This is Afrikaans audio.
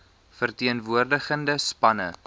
ver teenwoordigende spanne